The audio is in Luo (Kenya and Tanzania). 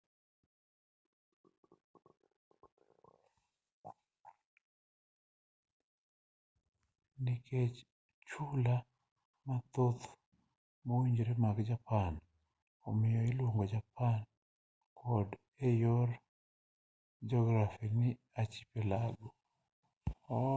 nikech chula mathoth moriwree mag japan omiyo iluongo japan kod eyor jografi ni archipelago